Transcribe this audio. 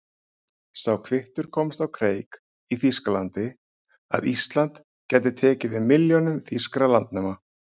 Sá kvittur komst á kreik í Þýskalandi, að Ísland gæti tekið við milljónum þýskra landnema.